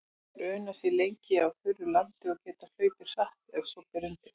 Þær una sér lengi á þurru landi og geta hlaupið hratt ef svo ber undir.